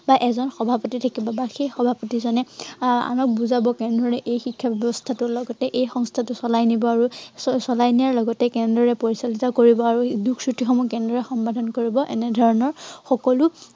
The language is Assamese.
বা এজন সভাপতি থাকিব বা সেই সভাপিতজনে, আহ আনক বুজাব কেনে ধৰনেৰে এই শিক্ষা ব্য়ৱস্থাটোৰ লগতে এই সংস্থাটো চলাই নিব। আৰু চলাই নিয়াৰ লগতে কেনেদৰে পৰিচালিত কৰিব আৰু দোষ সমূহ কেনেদৰে সমাধান কৰিব। এনেধৰনৰ সকলো